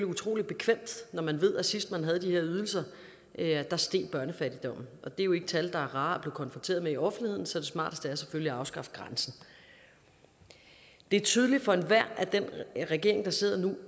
utrolig bekvemt når man ved at sidst man havde de her ydelser steg børnefattigdommen og det er jo ikke tal der er rare at blive konfronteret med i offentligheden så det smarteste er selvfølgelig at afskaffe grænsen det er tydeligt for enhver at den regering der sidder nu